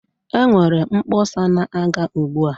Enwere mkpọsa na-aga ugbua.